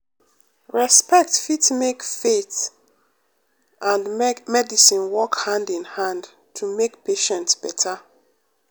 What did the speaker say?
respect fit make faith um and medicine work hand in hand to make patient beta.